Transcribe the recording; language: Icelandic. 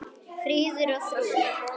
Fríður og Þrúður.